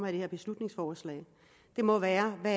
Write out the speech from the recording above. her beslutningsforslag må være at